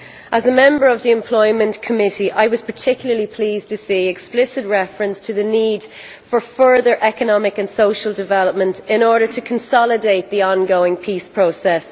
As a member of the Committee on Employment and Social Affairs I was particularly pleased to see explicit reference to the need for further economic and social development in order to consolidate the ongoing peace process.